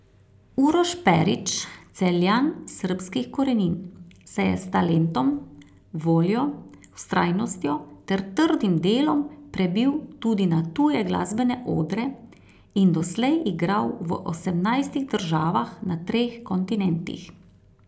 Uroš Perić, Celjan srbskih korenin, se je s talentom, voljo, vztrajnostjo ter trdim delom prebil tudi na tuje glasbene odre in doslej igral v osemnajstih državah na treh kontinentih.